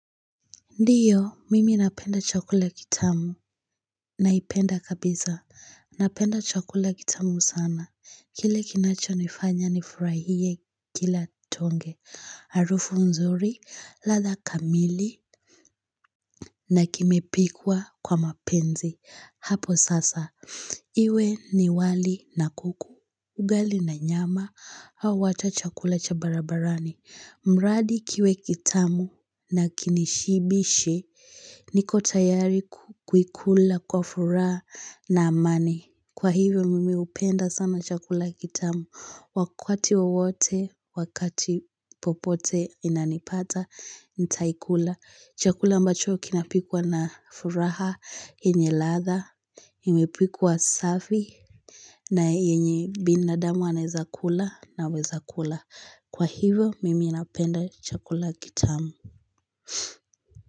Ndiyo, mimi napenda chakula kitamu naipenda kabisa. Napenda chakula kitamu sana. Kile kinacho nifanya nifurahie kila tonge. Arufu nzuri, ladha kamili na kimepikwa kwa mapenzi. Hapo sasa. Iwe ni wali na kuku. Ugali na nyama au hata chakula cha barabarani. Mradi kiwe kitamu na kinishibishe niko tayari kuikula kwa furaha na amani. Kwa hivyo mimi upenda sana chakula kitamu. Wakati wowote, wakati popote inanipata, nitaikula. Chakula mbacho kinapikwa na furaha, yenye ladha, imepikwa safi, na yenye binadamu anawezakula nawezakula. Kwa hivyo mimi inapenda chakula kitamu.